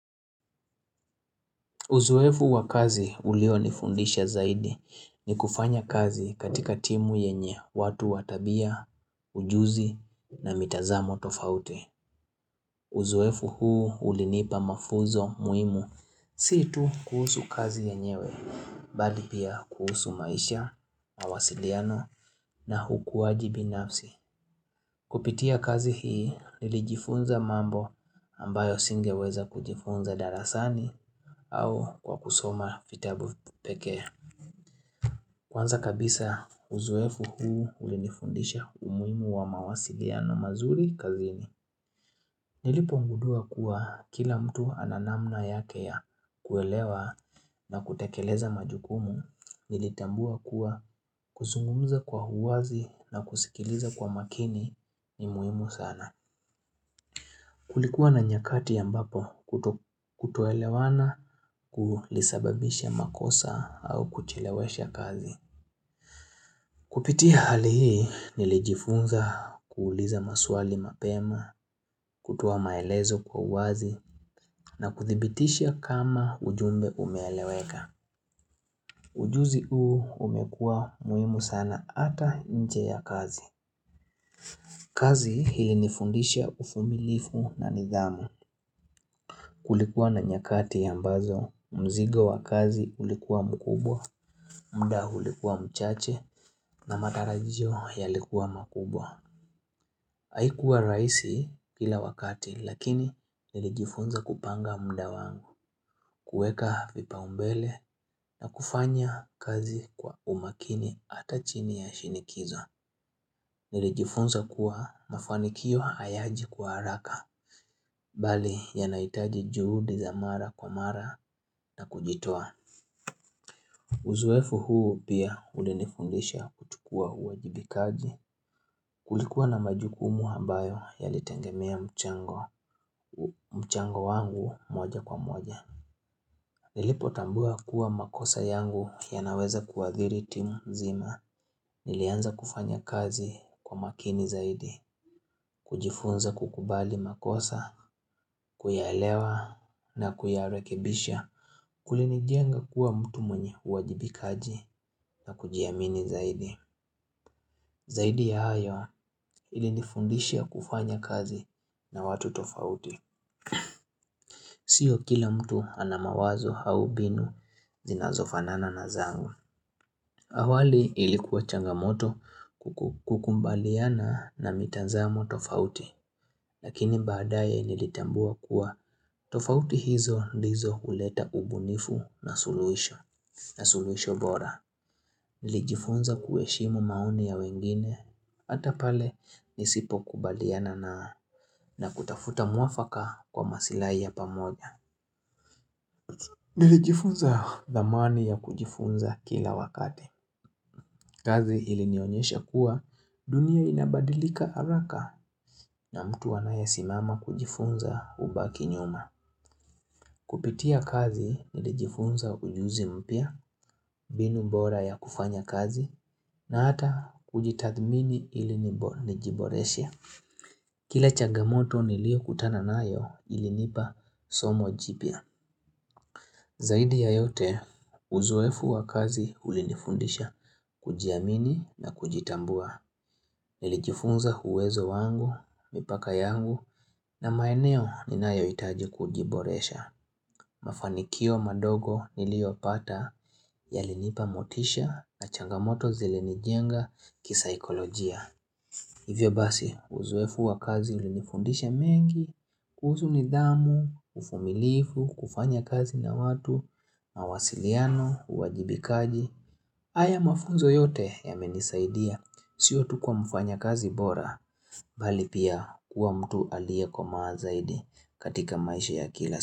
Uzoefu wa kazi ulio nifundisha zaidi ni kufanya kazi katika timu yenye watu wa tabia, ujuzi na mitazamo tofauti. Uzoefu huu ulinipa mafuzo muhimu. Si tu kuhusu kazi yenyewe, bali pia kuhusu maisha, mawasiliano na ukuwaji binafsi. Kupitia kazi hii nilijifunza mambo ambayo singeweza kujifunza darasani au kwa kusoma vitabu pekee. Kwanza kabisa uzoefu huu ulinifundisha umuhimu wa mawasiliano mazuri kazini. Nilipogundua kuwa kila mtu ana namna yake ya kuelewa na kutekeleza majukumu nilitambua kuwa kuzungumuza kwa uwazi na kusikiliza kwa makini ni muhimu sana. Kulikuwa na nyakati ambapo kutoelewana kulisababisha makosa au kuchelewesha kazi. Kupitia hali hii nilijifunza kuuliza maswali mapema, kutoa maelezo kwa uwazi na kuthibitisha kama ujumbe umeeleweka. Ujuzi huu umekua muhimu sana ata nje ya kazi. Kazi hii hunifundisha uvumilivu na nidhamu. Kulikuwa na nyakati ambazo, mzigo wa kazi ulikuwa mkubwa, mda ulikuwa mchache na matarajio yalikuwa makubwa. Haikuwa rahisi kila wakati lakini nilijifunza kupanga mda wangu, kueka vipa umbele na kufanya kazi kwa umakini hata chini ya shinikizo. Nilijifunza kuwa mafanikio hayaji kwa haraka Bali yanahitaji juhudi za mara kwa mara na kujitua Uzoefu huu pia ulinifundisha kuchukua uajibikaji Kulikuwa na majukumu ambayo yalitegemea mchango wangu moja kwa moja Nilipotambua kuwa makosa yangu yanaweza kuadhiri timu zima Nilianza kufanya kazi kwa makini zaidi kujifunza kukubali makosa, kuyaelewa na kuyarekebisha Kulinijenga kuwa mtu mwenye uwajibikaji na kujiamini zaidi Zaidi ya hayo ilinifundisha kufanya kazi na watu tofauti Sio kila mtu ana mawazo au mbinu zinazofanana na zangu awali ilikuwa changamoto kukubaliana na mitazamo tofauti Lakini badaye nilitambua kuwa tofauti hizo ndizo huleta ubunifu na suluhisho na suluhisho bora Nilijifunza kuheshimu maoni ya wengine Hata pale nisipo kubaliana na na kutafuta muafaka kwa masilahi ya pamoja Nilijifunza thamani ya kujifunza kila wakati kazi ilinionyesha kuwa dunia inabadilika haraka na mtu anayesimama kujifunza hubaki nyuma Kupitia kazi nilijifunza ujuzi mpya, mbinu bora ya kufanya kazi na hata kujitathmini ili nijiboreshe. Kile changamoto niliokutana nayo ilinipa somo jipya. Zaidi ya yote, uzoefu wa kazi ulinifundisha, kujiamini na kujitambua. Nilijifunza uwezo wangu, mipaka yangu na maeneo ninayo hitaji kujiboresha. Mafanikio madogo niliopata yalinipa motisha na changamoto zilinijenga kisaikolojia. Hivyo basi, uzoefu wa kazi ulinifundisha mengi, kuhusu nidhamu, uvumilivu, kufanya kazi na watu, mawasiliano, uwajibikaji. Haya mafunzo yote yamenisaidia, sio tu kwa mfanya kazi bora, bali pia kuwa mtu aliye komaa zaidi katika maisha ya kila.